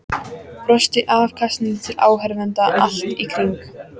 Brosti afsakandi til áhorfenda allt í kring.